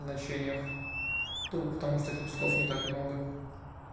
значениях тупо потому что лепестков не так много